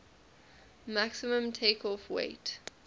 maximum takeoff weight